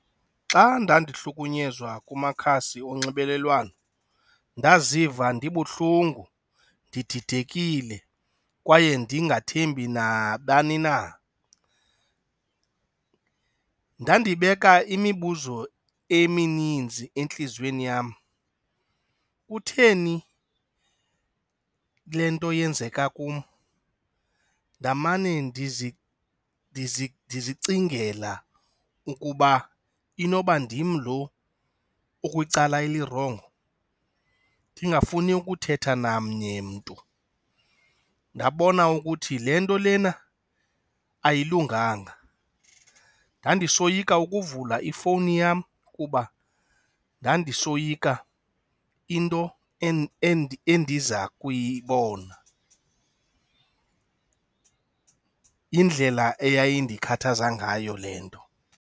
Xa ndandihlukunyezwa kumakhasi onxibelelwano ndaziva ndibuhlungu, ndididekile kwaye ndingathembi nabani na. Ndandibeka imibuzo emininzi entliziyweni yam, kutheni le nto yenzeka kum? Ndamane ndizicingela ukuba inoba ndim lo kwicala elirongo? Ndingafuni ukuthetha namnye umntu, ndabona ukuthi le nto lena ayilunganga. Ndandisoyika ukuvula ifowuni yam kuba ndandisoyika into endiza kuyibona. Indlela eyayindikhathaza ngayo le nto.